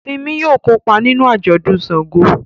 Simi yóò kópa nínú ajọdun ṣàngó